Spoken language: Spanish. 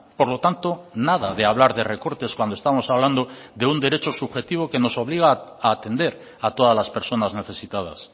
por lo tanto nada de hablar de recortes cuando estamos hablando de un derecho subjetivo que nos obliga a atender a todas las personas necesitadas